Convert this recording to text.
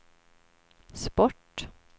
sport